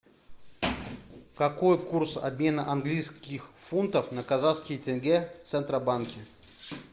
какой курс обмена английских фунтов на казахские тенге в центробанке